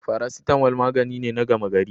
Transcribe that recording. Faracetamal magani ne na gama gari.